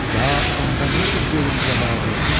Ya onda ne çük verim cavabı?